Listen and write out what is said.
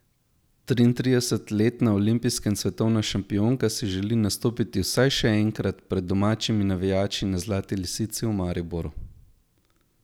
Triintridesetletna olimpijska in svetovna šampionka si želi nastopiti vsaj še enkrat, pred domačimi navijači na Zlati lisici v Mariboru.